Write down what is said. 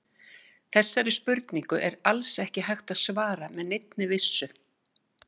Þessari spurningu er alls ekki hægt að svara með neinni vissu.